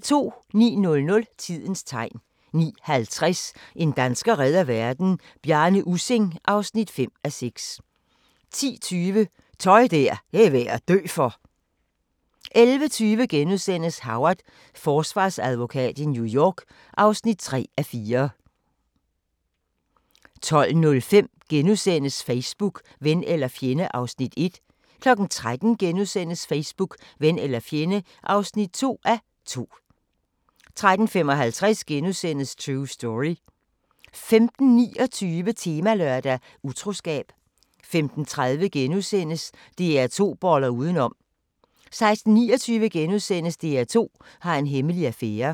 09:00: Tidens tegn 09:50: En dansker redder verden - Bjarne Ussing (5:6) 10:20: Tøj der er værd at dø for! 11:20: Howard – forsvarsadvokat i New York (3:4)* 12:05: Facebook - ven eller fjende (1:2)* 13:00: Facebook – ven eller fjende (2:2)* 13:55: True Story * 15:29: Temalørdag: Utroskab 15:30: DR2 boller udenom * 16:29: DR2 har en hemmelig affære *